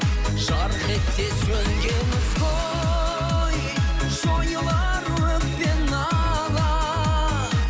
жарқ етсе сөнген ізгі ой жойылар өкпе нала